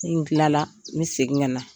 Ni n tilala n bƐ segin ka na